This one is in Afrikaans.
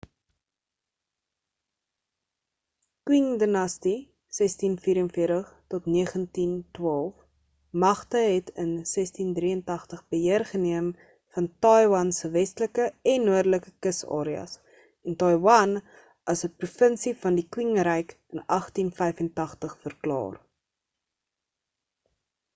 qing dinastie 1644 – 1912 magte het in 1683 beheer geneem van taiwan se westelike en noordelike kus areas en taiwan as n provinsie van die qing ryk in 1885 verklaar